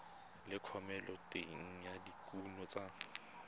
le thomeloteng ya dikuno tsa